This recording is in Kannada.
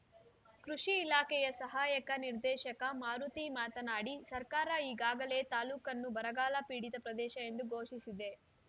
ಕೃಷಿ ಇಲಾಖೆಯ ಸಹಾಯಕ ನಿರ್ದೇಶಕ ಮಾರುತಿ ಮಾತನಾಡಿ ಸರ್ಕಾರ ಈಗಾಗಲೇ ತಾಲೂಕನ್ನು ಬರಗಾಲ ಪೀಡಿತ ಪ್ರದೇಶ ಎಂದು ಘೋಷಿಸಿದೆ